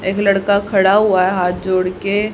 एक लड़का खड़ा हुआ है हाथ जोड़ के--